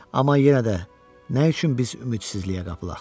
Amma yenə də nə üçün biz ümidsizliyə qapılaq?